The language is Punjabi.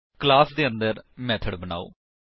ਕਲਾਸ ਦੇ ਅੰਦਰ ਮੇਥਡ ਬਨਾਓ